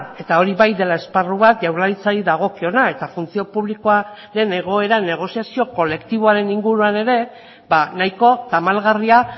eta hori bai dela esparru bat jaurlaritzari dagokiona eta funtzio publikoaren egoera negoziazio kolektiboaren inguruan ere ba nahiko tamalgarria